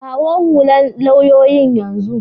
Kawo hullan lauyoyin yanzun.